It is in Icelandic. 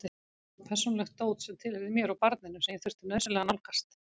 Þar var persónulegt dót sem tilheyrði mér og barninu sem ég þurfti nauðsynlega að nálgast.